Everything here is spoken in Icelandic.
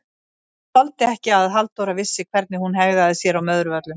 Hún þoldi ekki að Halldóra vissi hvernig hún hegðaði sér á Möðruvöllum!